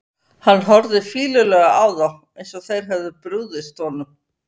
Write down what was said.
Hann horfði fýlulega á þá, eins og þeir hefðu brugðist honum.